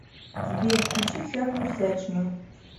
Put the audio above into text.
сбер включи всякую всячину